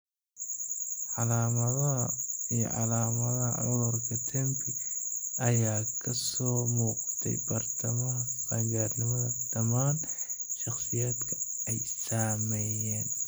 Calaamadaha iyo calaamadaha cudurka TEMPI ayaa ka soo muuqday bartamaha qaangaarnimada dhammaan shakhsiyaadka ay saameeyeen